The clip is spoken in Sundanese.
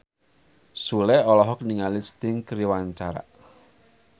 Sule olohok ningali Sting keur diwawancara